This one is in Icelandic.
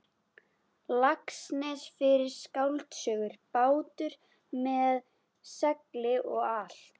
Laxness fyrir skáldsöguna Bátur með segli og allt.